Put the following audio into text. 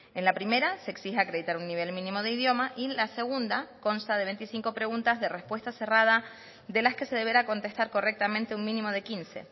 en la primera se exige acreditar un nivel mínimo de idioma y en la segunda consta de veinticinco preguntas de respuesta cerrada de las que se deberá contestar correctamente un mínimo de quince